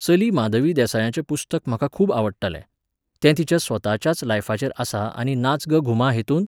चली माधवी देसायाचें पुस्तक म्हाका खूब आवडटालें. तें तिच्या स्वताच्याच लायफाचेर आसा आनी नाच ग घूमा हेतूंत